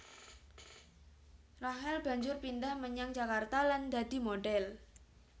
Rachel banjur pindhah menyang Jakarta lan dadi modhèl